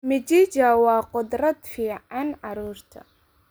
Mchichaa waa khudrad fiican carruurta.